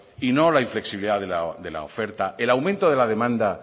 y no la inflexibilidad de la oferta el aumento de la demanda